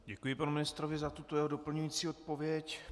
Děkuji panu ministrovi za tuto jeho doplňující odpověď.